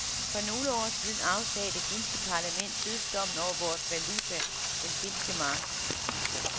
For nogle år siden afsagde det finske parlament dødsdommen over vores valuta, den finske mark.